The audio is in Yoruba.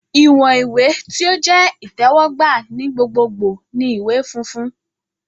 Iwọn iwe ti o jẹ itẹwọgba ni gbogbogbo ni iwe funfun